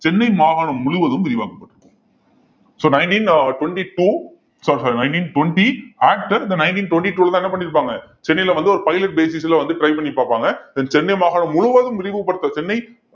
சென்னை மாகாணம் முழுவதும் விரிவாக்கப்பட்டிருக்கும் so nineteen அஹ் twenty-two sorry sorry nineteen twenty act then nineteen twenty two லதான் என்ன பண்ணியிருப்பாங்க சென்னையில வந்து ஒரு pilot basis ல வந்து try பண்ணி பார்ப்பாங்க then சென்னை மாகாணம் முழுவதும் விரிவுபடுத்த சென்னை